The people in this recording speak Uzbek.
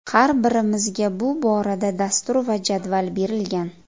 Har birimizga bu borada dastur va jadval berilgan.